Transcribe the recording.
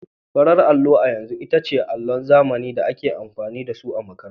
Farar allo a yanzu ita ce allon zamani da ake amfani da su a makarantu.